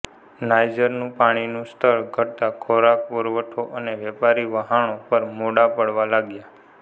નાઇજરનું પાણીનું સ્તર ઘટતાં ખોરાક પુરવઠો અને વેપારી વહાણો પણ મોડા પડવા લાગ્યા